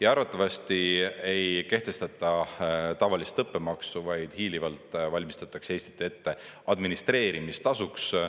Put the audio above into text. Ja arvatavasti ei kehtestata tavalist õppemaksu, vaid hiilivalt valmistatakse Eestit ette administreerimistasuks.